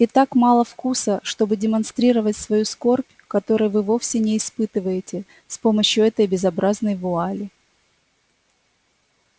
и так мало вкуса чтобы демонстрировать свою скорбь которой вы вовсе не испытываете с помощью этой безобразной вуали